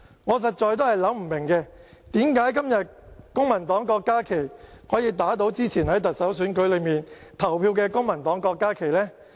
我實在想不通，為甚麼今天公民黨的郭家麒議員可以打倒之前在特首選舉裏投票的公民黨郭家麒議員呢？